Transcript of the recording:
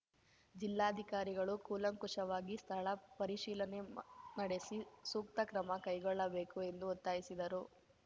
ಜಿಲ್ಲಾಧಿಕಾರಿಗಳು ಕೂಲಂಕುಷವಾಗಿ ಸ್ಥಳ ಪರಿಶೀಲನೆ ನಡೆಸಿ ಸೂಕ್ತ ಕ್ರಮ ಕೈಗೊಳ್ಳಬೇಕು ಎಂದು ಒತ್ತಾಯಿಸಿದರು